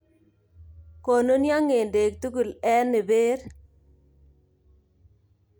Konunyo nge'dek tugul en iber.